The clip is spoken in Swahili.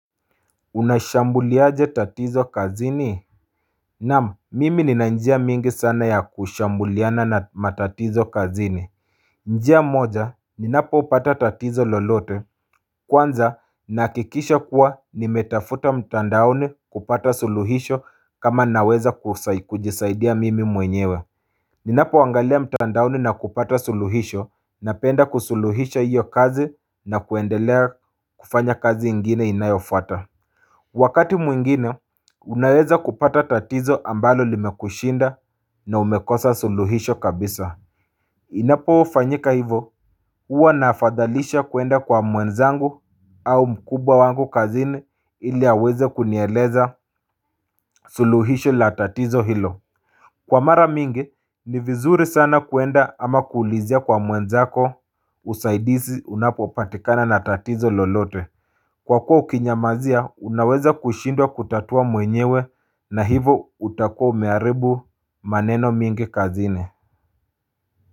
Unashambulia je tatizo kazini Naam mimi nina njia mingi sana ya kushambuliana na matatizo kazini njia moja ninapo upata tatizo lolote Kwanza nahakikisha kuwa nimetafuta mtandaoni kupata suluhisho kama naweza kujisaidia mimi mwenyewe Ninapo angalia mtandaoni na kupata suluhisho napenda kusuluhisha iyo kazi na kuendelea kufanya kazi ingine inayofuata Wakati mwingine, unaweza kupata tatizo ambalo limekushinda na umekosa suluhisho kabisa. Inapo fanyika hivo, uwa nafadhalisha kuenda kwa mwenzangu au mkubwa wangu kazini ili aweze kunieleza suluhisho la tatizo hilo. Kwa mara mingi, ni vizuri sana kuenda ama kuulizia kwa mwenzako usaidizi unapo patikana na tatizo lolote. Kwa kuwa ukinyamazia unaweza kushindwa kutatua mwenyewe na hivo utakuwa umeharibu maneno mingi kazini.